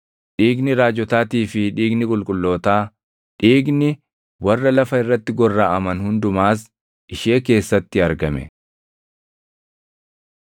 Dhiigni raajotaatii fi dhiigni qulqullootaa, dhiigni warra lafa irratti gorraʼaman hundumaas // ishee keessatti argame.”